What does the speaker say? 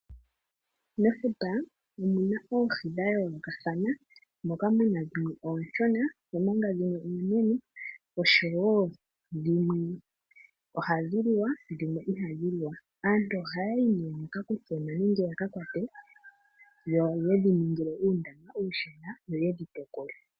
Mefuta omuna oohi dha yoolokathana, moka muna dhimwe ooshona omanga dhimwe oonene oshowo dhimwe oha dhi liwa dhimwe iha dhi liwa, aantu ohaya yi nee yaka kuthemo nenge yaka kwate yo yedhi ningile uundama uushona yo yedhi tekule.